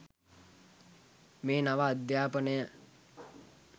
මේ නව අධ්‍යාපනය